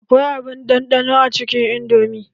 Akwai abun ɗanɗano a cikin indomi.